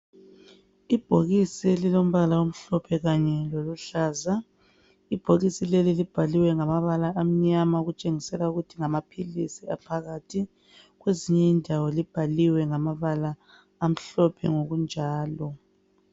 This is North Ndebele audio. Ibhokisi elilombala omhlophe kanye loluhlaza. Ibhokisi leli libhaliwe ngamabala amnyama okutshengisela ukuthi ngamaphilisi aphakathi. Kwezinye indawo libhaliwe ngamabala amhlophe ngokunjalo.